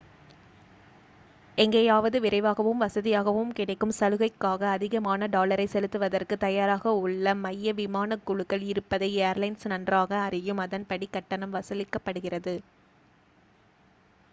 எங்கேயாவது விரைவாகவும் வசதியாகவும் கிடைக்கும் சலுகைக்காக அதிகமான டாலரை செலுத்துவதற்கு தயாராக உள்ள மைய விமான குழுக்கள் இருப்பதை ஏர்லைன்ஸ் நன்றாக அறியும் அதன்படி கட்டணம் வசூலிக்கப்படுகிறது